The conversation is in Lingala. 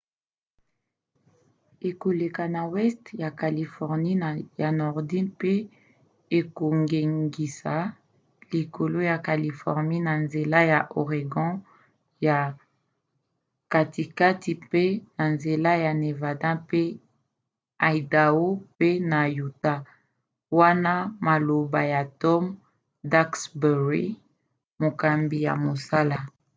ekoleka na weste ya californie ya nordi mpe ekongengisa likolo ya californie na nzela ya oregon ya katikati mpe na nzela ya nevada mpe idao pe na utah,” wana maloba ya tom duxbury mokambi ya mosala